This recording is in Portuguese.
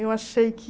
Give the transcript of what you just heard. Eu achei que...